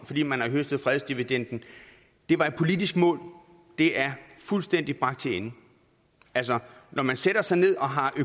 fordi man har høstet fredsdividenden det var et politisk mål det er fuldstændig bragt til ende altså når man sætter sig ned